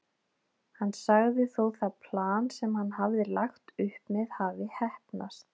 Hann sagði þó það plan sem hann hafði lagt upp með hafa heppnast.